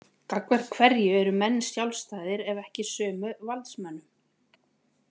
Gagnvart hverju eru menn sjálfstæðir ef ekki sömu valdsmönnum?